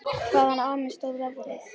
Hvaðan á mig stóð veðrið.